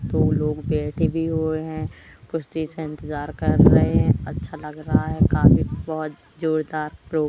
दो लोग बैठे भी हुए हैं कुछ चीज का इंतजार कर रहे हैं अच्छा लग रहा है काफी बहोत जोरदार प्रो--